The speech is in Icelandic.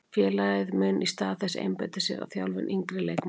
Félagið mun í stað þess einbeita sér að þjálfun yngri leikmanna.